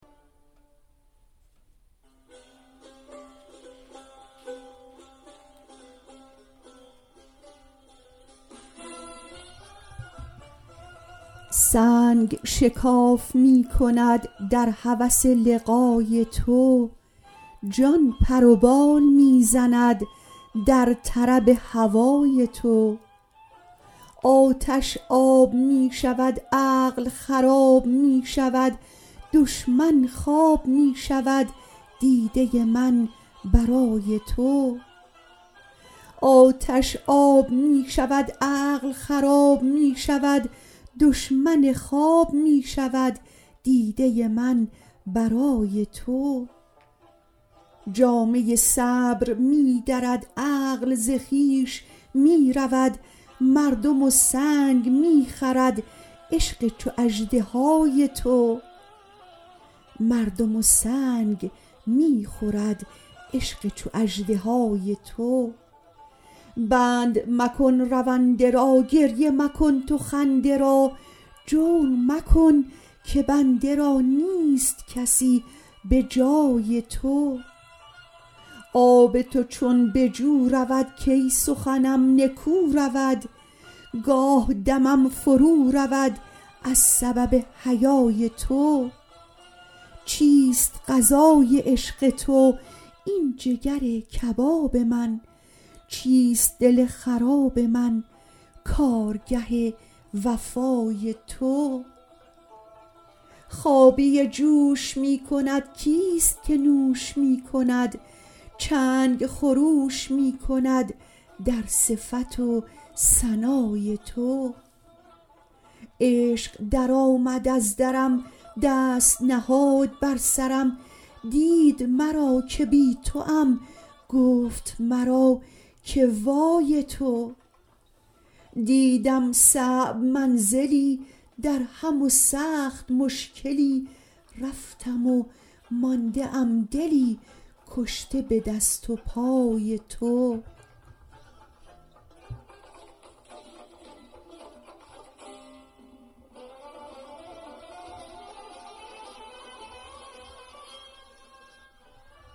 سنگ شکاف می کند در هوس لقای تو جان پر و بال می زند در طرب هوای تو آتش آب می شود عقل خراب می شود دشمن خواب می شود دیده من برای تو جامه صبر می درد عقل ز خویش می رود مردم و سنگ می خورد عشق چو اژدهای تو بند مکن رونده را گریه مکن تو خنده را جور مکن که بنده را نیست کسی به جای تو آب تو چون به جو رود کی سخنم نکو رود گاه دمم فرودرد از سبب حیای تو چیست غذای عشق تو این جگر کباب من چیست دل خراب من کارگه وفای تو خابیه جوش می کند کیست که نوش می کند چنگ خروش می کند در صفت و ثنای تو عشق درآمد از درم دست نهاد بر سرم دید مرا که بی توام گفت مرا که وای تو دیدم صعب منزلی درهم و سخت مشکلی رفتم و مانده ام دلی کشته به دست و پای تو